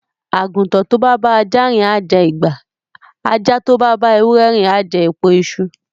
Àgùntàn tó bá bá ajá rìn á jẹ ìgbà, ajá tó bá bá ewúrẹ rìn á jẹ èpo iṣu.